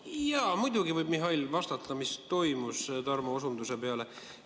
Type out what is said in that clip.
Jaa, muidugi võib Mihhail vastata, mis toimus, Tarmo peale.